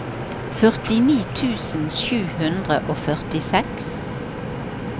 førtini tusen sju hundre og førtiseks